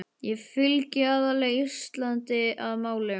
Ég fylgi aðallega Íslandi að málum.